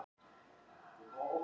Hafliða